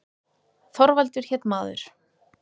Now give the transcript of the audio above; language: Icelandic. Þorvaldur hét maður.